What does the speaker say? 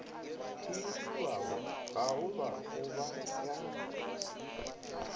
hiriwago gaoba go ba ya